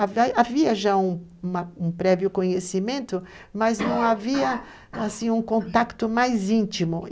Havia já uma um prévio conhecimento, mas não havia, assim, um contato mais íntimo.